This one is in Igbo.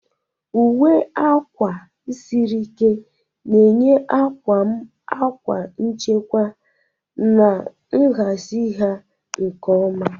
Uwe akwa siri ike na-enye akwa m akwa nchekwa, na-ahazi ha nke ọma.